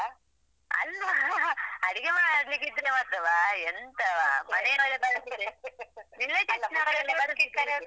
ಅಲ್ವಾ ಅಡಿಗೆ ಮಾಡ್ಲಿಕ್ಕೆ ಇದ್ರೆ ಮಾತ್ರವಾ ಎಂತವಾ relatives ನವರೆಲ್ಲಾ ಬರುದಿಲ್ವಾ.